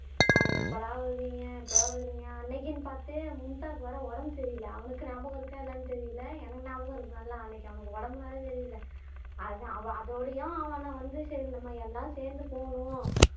அஹ் எப்படா வருவீங்க எப்படா வருவீங்க அன்னைக்குன்னு பார்த்து மும்தாக்கு வேற உடம்பு சரியில்லை அவனுக்கு ஞாபகம் இருக்கா இல்லையான்னு தெரியலே எனக்கு ஞாபகம் இருக்கு நல்லா அன்னைக்கு அவனுக்கு உடம்பு வேற சரியில்ல அது அவன் அதோடையும் அவன வந்து சரி நம்ம எல்லாரும் சேர்ந்து போணும்